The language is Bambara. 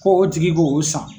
Ko o tigi k'o o san